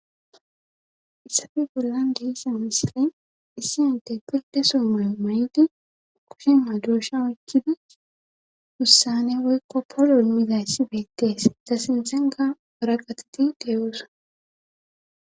issafi gullan dihisa misile issi ante pilde soomayo may7di ukushimma dosha oykkidi hussane woykko polomizayssi beettees zasinxenga ora gatati deeyoosa